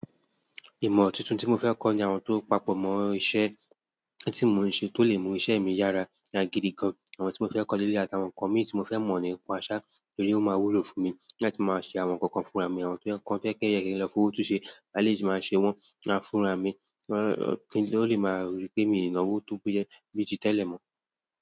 Ìmọ̀ tuntun tí mo fẹ́ kọ́ ni àwọn tó papọ̀ mọ́ iṣẹ́ tí mò ń ṣe tó lè mú iṣẹ́ mi yára ní agidi gan. Àwọn tí mo fẹ́ kọ́ ní eleyii àtàwọn nkan mi tí mo fẹ́ mọ̀ nipa sa, torí ó máa wúlò fún mi láti máa ṣe àwọn nǹkan kan fúnra mi. Àwọn nǹkan tí ẹ́ kẹ́yìn rẹ́ ń lọ fún òtútù ṣe, alẹ́ yìí sì máa ṣe wọ́n máa fúnra mi, kí ó lè máa rí pé mi ìnáwó tó péyẹ bí tí tẹ́lẹ̀ mọ́.